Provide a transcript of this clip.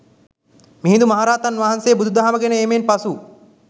මිහිඳු මහරහතන් වහන්සේ බුදුදහම ගෙන ඒමෙන් පසු